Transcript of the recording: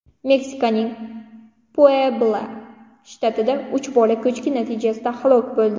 Meksikaning Puebla shtatida uch bola ko‘chki natijasida halok bo‘ldi.